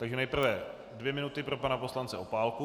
Takže nejprve dvě minuty pro pana poslance Opálku.